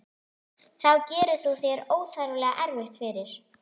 Þá gerir þú þér óþarflega erfitt fyrir.